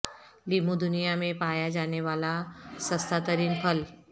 لیموں دنیا میں پایا جانے والا سستا ترین پھل